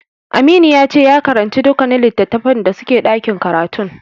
Aminu yace ya karance dukkanin littatafan da suke ɗakin karatun.